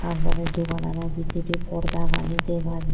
tar porey doganano bidirey porda gani dega jar.